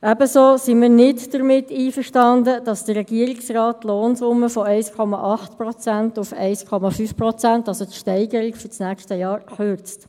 Ebenso sind wir nicht damit einverstanden, dass der Regierungsrat die Steigerung der Lohnsumme für das nächste Jahr von 1,8 Prozent auf 1,5 Prozent kürzt.